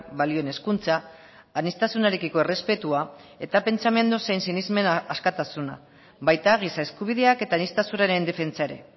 balioen hezkuntza aniztasunarekiko errespetua eta pentsamendu zein sinesmen askatasuna baita giza eskubideak eta aniztasunaren defentsa ere